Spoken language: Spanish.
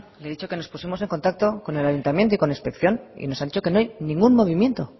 le he dicho que nos pusimos en contacto con el ayuntamiento y con inspección y nos ha dicho que no hay ningún movimiento